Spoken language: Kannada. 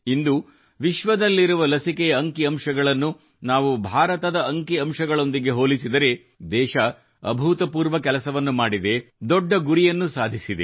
ಇಂದು ವಿಶ್ವದಲ್ಲಿರುವ ಲಸಿಕೆಯ ಅಂಕಿಅಂಶಗಳನ್ನು ನಾವು ಭಾರತದ ಅಂಕಿಅಂಶಗಳೊಂದಿಗೆ ಹೋಲಿಸಿದರೆ ದೇಶವು ಅಭೂತಪೂರ್ವ ಕೆಲಸವನ್ನು ಮಾಡಿದೆ ದೊಡ್ಡ ಗುರಿಯನ್ನು ಸಾಧಿಸಿದೆ